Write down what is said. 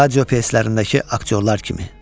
Radiopiyeslərdəki aktyorlar kimi.